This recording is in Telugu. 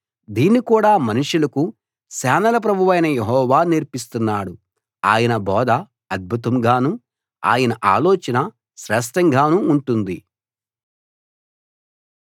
దీన్ని కూడా మనుషులకు సేనల ప్రభువైన యెహోవా నేర్పిస్తున్నాడు ఆయన బోధ అద్భుతంగానూ ఆయన ఆలోచన శ్రేష్టంగానూ ఉంటుంది